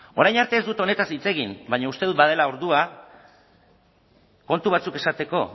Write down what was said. orain arte ez dut honetaz hitz egin baina uste dut badela ordua kontu batzuk esateko